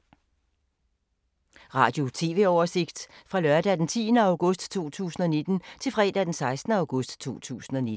Radio/TV oversigt fra lørdag d. 10. august 2019 til fredag d. 16. august 2019